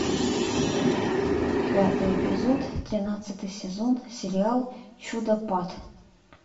пятый эпизод тринадцатый сезон сериал чудопад